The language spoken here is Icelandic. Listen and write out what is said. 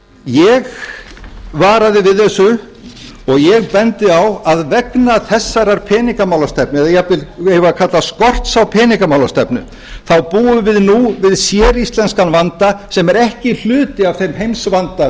ég varaði við þessu og ég bendi á að vegna þessarar peningamálastefnu eða jafnvel eigum við að kalla skorts á peningamálastefnu þá búum við nú við séríslenskan vanda sem er ekki hluti af þeim heimsvanda